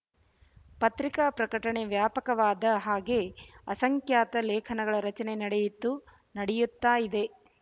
ಪತ್ರಿಕಾ ಪ್ರಕಟಣೆ ವ್ಯಾಪಕವಾದ ಹಾಗೆ ಅಸಂಖ್ಯಾತ ಲೇಖನಗಳ ರಚನೆ ನಡೆಯಿತು ನಡೆಯುತ್ತಾ ಇದೆ